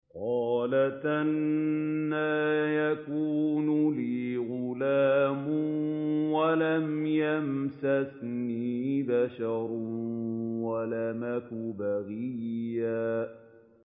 قَالَتْ أَنَّىٰ يَكُونُ لِي غُلَامٌ وَلَمْ يَمْسَسْنِي بَشَرٌ وَلَمْ أَكُ بَغِيًّا